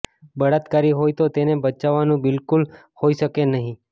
બળાત્કારી હોય તો તેને બચાવવાનું બિલકુલ હોઈ શકે નહીં